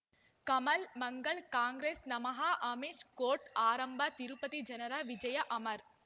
ಕಮಲ್ ಮಂಗಳ್ ಕಾಂಗ್ರೆಸ್ ನಮಃ ಅಮಿಷ್ ಕೋರ್ಟ್ ಆರಂಭ ತಿರುಪತಿ ಜನರ ವಿಜಯ ಅಮರ್